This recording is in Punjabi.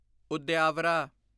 ਉਦਯਾਵਰਾ